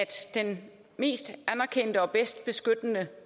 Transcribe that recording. den mest anerkendte og bedst beskyttende